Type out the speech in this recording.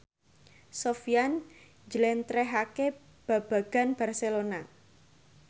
Sofyan njlentrehake babagan Barcelona